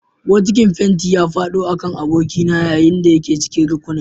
Bokitin fenti ya faɗo a kan abokina yayin da yake cikin rukunin